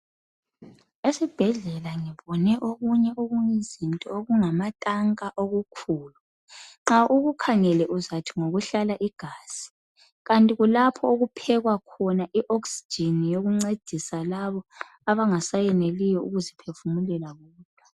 Esibhedlela ngibone okunye okuyizinto okungamatanka okukhulu. Nxa ukukhangele uzathi ngokuhlala igazi kanti kulapho okuphekwa khona ioxygen yokuncedisa labo abangaseneliyo ukuphefumulela bona.